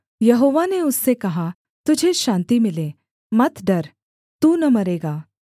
यहोवा ने उससे कहा तुझे शान्ति मिले मत डर तू न मरेगा